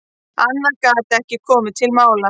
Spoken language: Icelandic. Annað gat ekki komið til mála.